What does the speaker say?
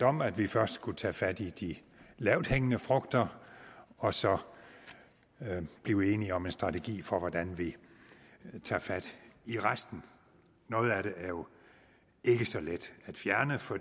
om at vi først skulle tage fat i de lavthængende frugter og så blive enige om en strategi for hvordan vi tager fat i resten noget af det er jo ikke så let at fjerne for